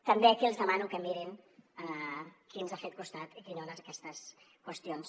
també aquí els demano que mirin qui ens ha fet costat i qui no en aquestes qüestions